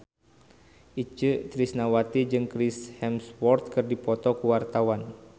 Itje Tresnawati jeung Chris Hemsworth keur dipoto ku wartawan